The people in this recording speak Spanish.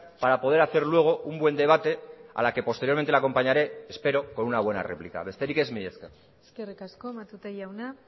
para poder hacer luego un buen debate a la que posteriormente le acompañaré espero con una buena réplica besterik ez mila esker eskerrik asko matute jauna